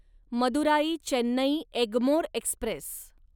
Madurai Chennai Egmore Express